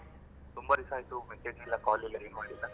ತುಂಬಾ ದಿಸಾಯಿತು message ಇಲ್ಲ call ಇಲ್ಲಏನೂ ಇಲ್ಲ.